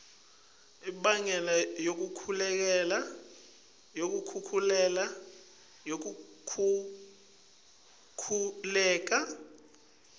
imbangela yekukhukhuleka kwemhlabatsi